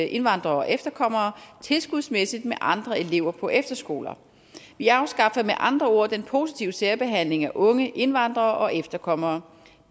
indvandrere og efterkommere tilskudsmæssigt med andre elever på efterskoler vi afskaffer med andre ord den positive særbehandling af unge indvandrere og efterkommere